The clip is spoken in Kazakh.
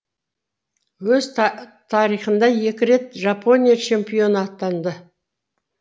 өз тарихында екі рет жапония чемпионы атанды